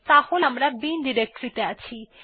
তাহলে আমরা এখন বিন ডিরেক্টরী ত়ে আছি